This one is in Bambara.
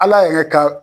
Ala yɛrɛ ka